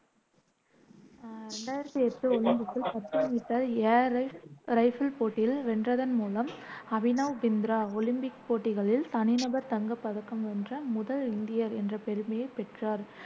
அஹ் ரெண்டாயிரத்தி எட்டு ஒலிம்பிக்கில் பத்து மீட்டர் ஏர் ரைபிள் போட்டியில் வென்றதன் மூலம், அபினவ் பிந்த்ரா ஒலிம்பிக் போட்டிகளில் தனிநபர் தங்கப் பதக்கம் வென்ற முதல் இந்தியர் என்ற பெருமையைப் பெற்றார்,